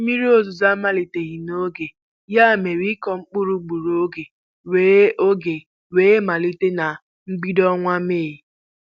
Mmiri ozuzo amaliteghi n'oge, ya mere, ịku mkpụrụ gburu ọge wee ọge wee malite na mbido ọnwa Mee.